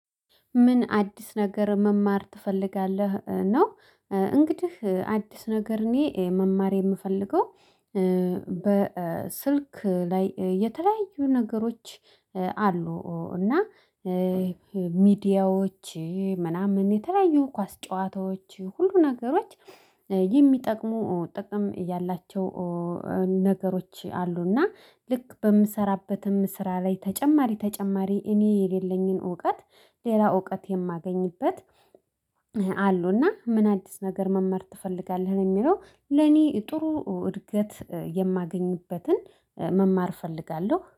ምን አዲስ ነገር መማር ትፈልጋለህ ነው? እንግዲህ አዲስ ነገር እኔ መማር የምፈልገው። በስልክ ላይ የተለያዩ ነገሮች። አሉ እና ሚዲያዎች ምናምን የተለያዩ ኳስ ጨዋታዎች ሁሉ ነገሮች የሚጠቅሙ ጥቅም ያላቸው ነገሮች አሉና ልክ በምሰራበትም ስራ ላይ ተጨማሪ ተጨማሪ እኔ የሌለኝን እውቀት ሌላ እውቀት የማገኝበት። አሉና ምን አዲስ ነገር መማር ትፈልጋለህ ነው የሚለው? ለኔ ጥሩ እድገት የማገኝበትን መማር እፈልጋለሁ